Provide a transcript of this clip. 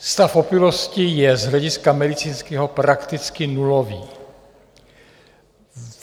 Stav opilosti je z hlediska medicínského prakticky nulový.